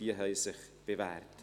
Diese haben sich bewährt.